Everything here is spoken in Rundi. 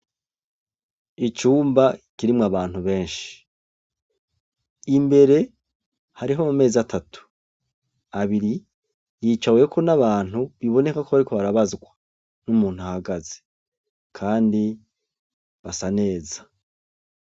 Icumba kirimwo abantu benshi, imbere harih' ama mez' atatu, abiri yicaweko n' abantu bibonekako bariko barabazwa n' umunt' ahagaze kandi basa neza.